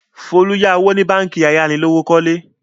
Folú yá owó ní báńkì ayánilówókọ́lé.